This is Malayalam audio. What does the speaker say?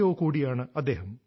ഒ കൂടിയാണ് അദ്ദേഹം